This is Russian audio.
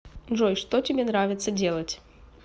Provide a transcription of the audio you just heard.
джой что тебе нравится делать